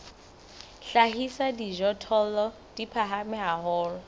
hlahisa dijothollo di phahame haholo